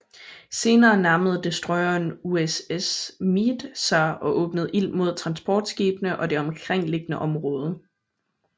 Senere nærmede destroyeren USS Meade sig og åbnede ild mod transportskibene og det omkringliggende område